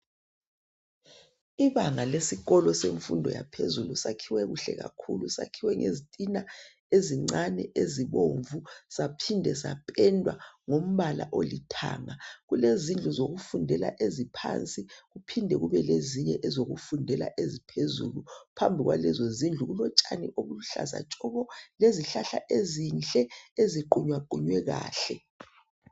Ibanga lesikolo semfundo yaphezulu sakhiwe kuhle kakhulu, sakhiwe ngezitina ezincane ezibomvu saphinde sapendwa ngombala olithanga. Kulezindlu zokufundela eziphansi kuphinde kube lezinye ezokufundela eziphezulu phambi kwalezozindlu kulotshani obuluhlaza tshoko lezihlahla ezinhle eziqunywaqunywe kahle.